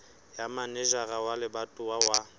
ya manejara wa lebatowa wa